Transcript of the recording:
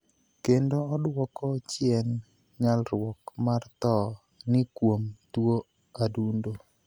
Kendo oduoko chien nyalruok mar thoo ni kuom tuo adundo.